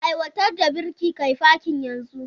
Aiwatar da birki kai fakin yanzu!